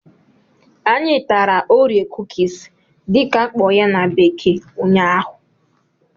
Anyị tara"orie cookies" dị ka akpo ya na bekee ụnyaahụ